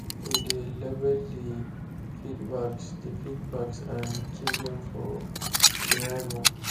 we dey label the feed bags the feed bags and keep dem for dry room.